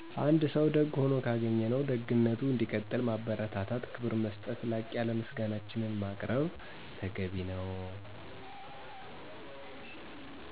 አንድ ሰው ደግ ሆኖ ካገኝነው ደግነቱ እንዲቀጥል ማበርታታት ክብር መሰጠት ላቅ ያለ ምሰጋናችን ማቅርብ....